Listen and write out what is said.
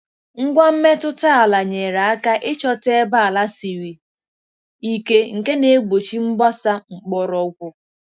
Ngwa mmetụta ala nyere aka ịchọta ebe ala siri ike nke na-egbochi mgbasa mgbọrọgwụ.